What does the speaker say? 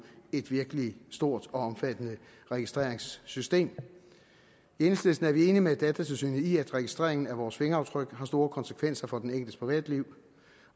et virkelig stort og omfattende registreringssystem i enhedslisten er vi enige med datatilsynet i at registreringen af vores fingeraftryk har store konsekvenser for den enkeltes privatliv